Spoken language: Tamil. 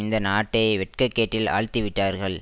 இந்த நாட்டை வெட்கக்கேட்டில் ஆழ்த்திவிட்டார்கள்